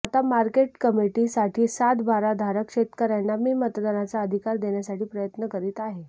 आता market committee साठी सात बारा धारक शेतकऱयांना मी मतदानाचा अधिकार देण्यासाठी प्रयत्न करीत आहे